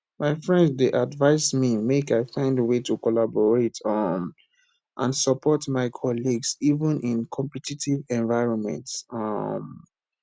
my friend dey advise me make i find way to collaborate um and support my colleagues even in competitive environments um